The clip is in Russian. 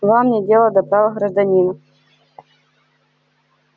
вам нет дела до прав гражданина